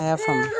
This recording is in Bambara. A y'a faamu